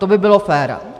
To by bylo fér.